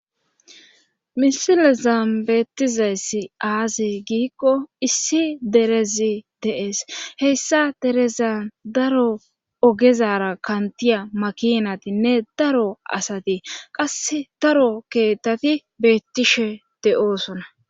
misile zambeettizayssi aaze giikko issi derezi deees heyssa derezan daro ogezara kantiya makinatinne daro asati qass daro keettati beettishe de7oosona